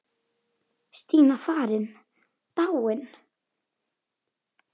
Stína farin, dáin.